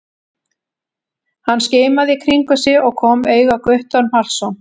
Hann skimaði í kringum sig og kom auga á Guttorm Hallsson.